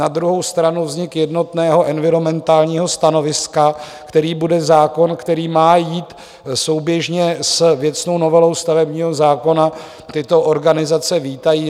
Na druhou stranu vznik jednotného environmentálního stanoviska, kterým bude zákon, který má jít souběžně s věcnou novelou stavebního zákona, tyto organizace vítají.